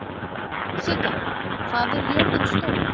Sigga, hvað er jörðin stór?